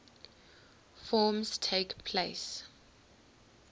forms takes place